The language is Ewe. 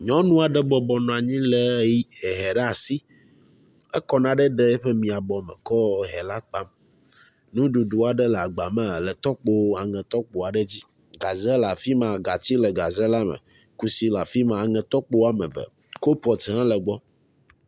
Nyɔnu aɖe bɔbɔ nɔ anyi lé ehɛ ɖe asi, ekɔ naɖe ɖe eƒe mia bɔ mekɔ ehɛ la kpam. Nuɖuɖu aɖe le agba me le tɔkpo aŋe tɔkpo aɖe dzi, gaze le afi ma, gatsi le gaze la me, kusi le afi ma, aŋe tɔkpo woame eve, kolpɔt hã le gbɔ.